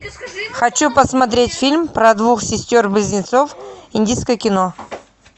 хочу посмотреть фильм про двух сестер близнецов индийское кино